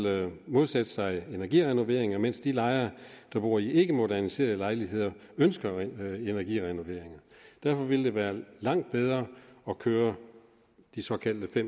modsætte sig energirenovering mens de lejere der bor i ikkemoderniserede lejligheder ønsker energirenovering derfor ville det være langt bedre at køre de såkaldte